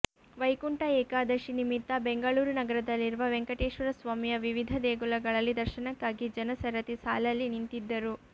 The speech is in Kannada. ವೈಕುಂಠ ಏಕಾದಶಿ ನಿಮಿತ್ತ ಬೆಂಗಳೂರು ನಗರದಲ್ಲಿರುವ ವೆಂಕಟೇಶ್ವರ ಸ್ವಾಮಿಯ ವಿವಿಧ ದೇಗುಲಗಳಲ್ಲಿ ದರ್ಶನಕ್ಕಾಗಿ ಜನ ಸರತಿ ಸಾಲಲ್ಲಿ ನಿಂತಿದ್ದರು